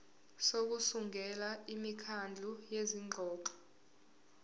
sokusungula imikhandlu yezingxoxo